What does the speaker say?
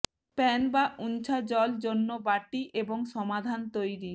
pan বা উনছা জল জন্য বাটি এবং সমাধান তৈরীর